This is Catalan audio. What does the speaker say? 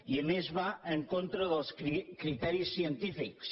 i a més va en contra dels criteris científics